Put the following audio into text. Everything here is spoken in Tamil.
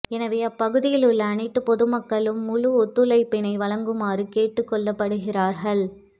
எனவே அப்பகுதியில் உள்ள அனைத்து பொதுமக்களும் முழு ஒத்துழைப்பினை வழங்குமாறு கேட்டுக்கொள்ளப்படுகிறார்கள்